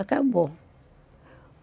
Acabou.